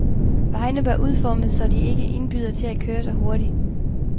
Vejene bør udformes, så de ikke indbyder til at køre så hurtigt.